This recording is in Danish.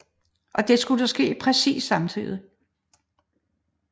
Og det skulle ske præcist samtidig